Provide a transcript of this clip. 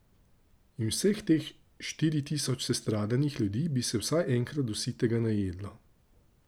In vseh teh štiri tisoč sestradanih ljudi bi se vsaj enkrat do sitega najedlo.